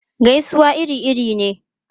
Gaisuwa iri-iri ne.